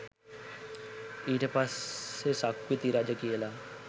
ඊට පස්සේ සක්විති රජ කියල